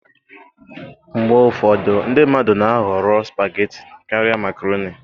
Mgbe ụfọdụ ndị mmadụ na-ahọrọ spageti karịa Makaroni